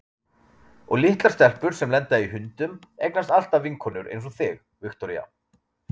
Og litlar stelpur sem lenda í hundum eignast alltaf vinkonur einsog þig, Viktoría.